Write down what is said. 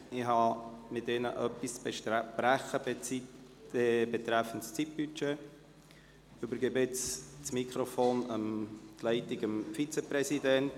Ich habe mit Ihnen etwas zu besprechen betreffend Zeitbudget und übergebe jetzt das Mikrofon, die Leitung an den Vizepräsidenten.